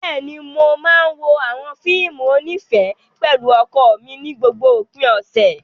Bẹ́ẹ̀ni, mo máa ń wo àwọn fíìmù onífẹ̀ẹ́ pẹ̀lú ọkọ mi ní gbogbo òpin ọ̀sẹ̀.